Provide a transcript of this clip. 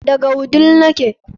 Daga wudil nake